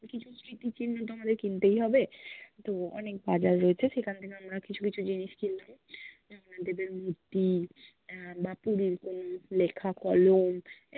কিছু স্মৃতিচিহ্ন তো আমাদের কিনতেই হবে তো অনেক বাজার রয়ছে, সেখান থেকে আমরা কিছু কিছু জিনিস কিনলাম জগন্নাথ দেবের মূর্তি, আহ বা পুরির কলম লেখা কলম